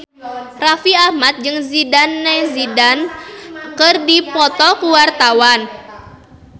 Raffi Ahmad jeung Zidane Zidane keur dipoto ku wartawan